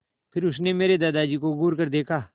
फिर उसने मेरे दादाजी को घूरकर देखा